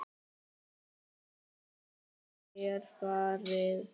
Ég vil að þér farið.